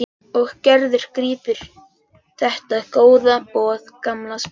Og Gerður grípur þetta góða boð gamals vinar.